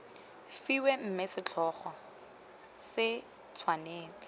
fiwe mme setlhogo se tshwanetse